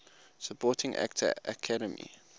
supporting actor academy